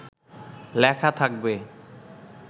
লেখা থাকবে